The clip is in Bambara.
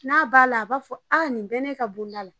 N'a b'a la a b'a fɔ nin bɛ ne ka bonda la